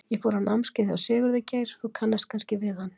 Ég fór á námskeið hjá Sigurði Geir, þú kannast kannski við hann?